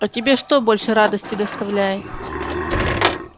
а тебе что больше радости доставляет